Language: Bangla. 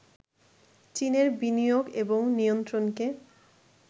চীনের বিনিয়োগ এবং নিয়ন্ত্রণকে